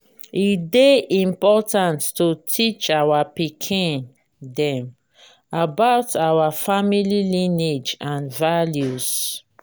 e dey important to teach our pikin dem about our family lineage and values.